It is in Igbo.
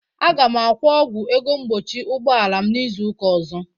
Aga m akwọ ọgwụ ego mgbochi ụgbọala m n'izuụka ọzọ.